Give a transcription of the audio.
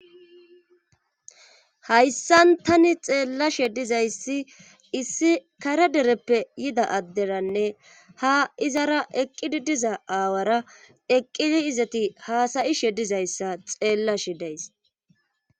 Hayssan tani xeelashe dizay issi kare dereppe yida adderanne ha izara eqqizi diza awara eqqidi izatti hasayishe dizayssa xeelashe days.